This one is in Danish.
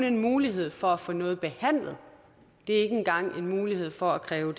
en mulighed for at få noget behandlet det er ikke engang en mulighed for at kræve